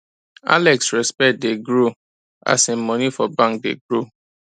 alex respect dey grow as his money for bank dey grow